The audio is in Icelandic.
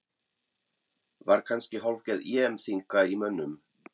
Var kannski hálfgerð EM þynnka í mönnum?